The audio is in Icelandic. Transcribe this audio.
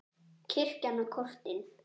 Kirkjan og kortin.